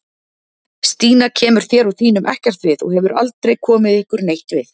Stína kemur þér og þínum ekkert við og hefur aldrei komið ykkur neitt við